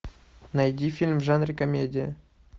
найди фильм в жанре комедия